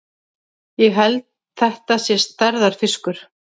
Ég held þetta sé stærðarfiskur!